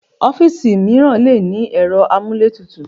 Ọ́fíìsì mìíràn le ní ẹ̀rọ amúlétutù.